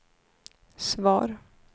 svar